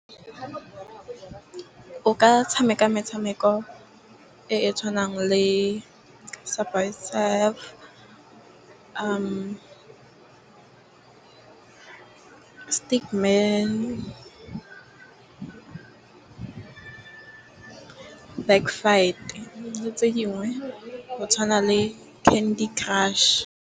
O ka tshameka metshameko e e tshwanang le le tse dingwe go tshwana le Candy crush.